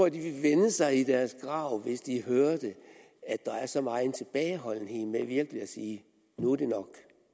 at de ville vende sig i deres grave hvis de hørte at der er så megen tilbageholdenhed med virkelig at sige nu er det nok